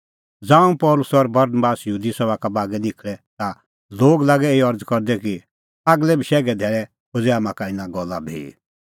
ज़ांऊं पल़सी और बरनबास यहूदी सभा का बागै निखल़ै ता लोग लागै एही अरज़ करदै कि आगलै बशैघे धैल़ै खोज़ै हाम्हां का इना गल्ला भी